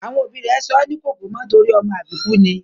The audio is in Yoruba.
Àwọn òbí rẹ̀ sọ́ ní Kòkúmọ́ torí ọmọ àbíkú ni